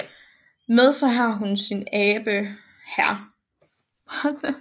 Med sig har hun sin abe hr